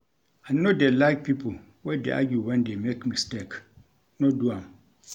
I no dey like pipo wey dey argue wen dey make mistake, no do am.